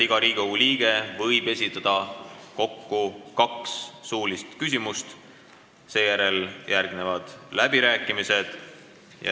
Iga Riigikogu liige võib esitada kokku kaks suulist küsimust, seejärel järgnevad läbirääkimised.